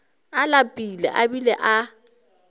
a lapile a bile a